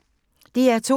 DR2